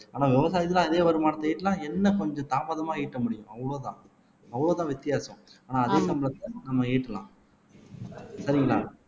ஆனா விவசாயத்துல அதே வருமானத்தை ஈட்டினா என்ன கொஞ்சம் தாமதமா ஈட்ட முடியும் அவ்வளவுதான் அவ்வளவுதான் வித்தியாசம் ஆனா அதே சம்பளத்துல நம்ம ஈட்டலாம் சரிங்களா